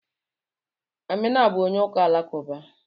Amina bụ onye ụka Alakụba.